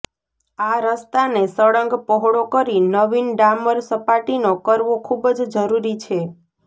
આ રસ્તાને સળંગ પહોળો કરી નવીન ડામર સપાટીનો કરવો ખૂબજ જરૃરી છે